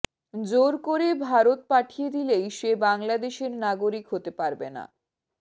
জোর করে ভারত পাঠিয়ে দিলেই সে বাংলাদেশের নাগরিক হতে পারবে না